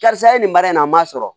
Karisa ye nin baara in na n ma sɔrɔ